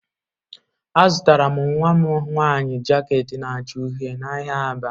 Azụtara m nwa m nwanyị jaket na-acha uhie n'ahịa Aba.